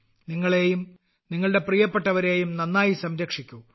നിങ്ങളെയും നിങ്ങളുടെ പ്രിയപ്പെട്ടവരെയും നന്നായി സംരക്ഷിക്കൂ